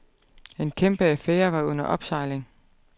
En kæmpe affære var under opsejling.